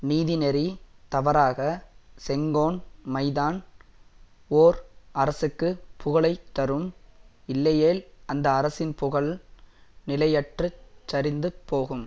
நீதிநெறி தவறாக செங்கோன்மைதான் ஓர் அரசுக்கு புகழை தரும் இல்லையேல் அந்த அரசின் புகழ் நிலையற்றுச் சரிந்து போகும்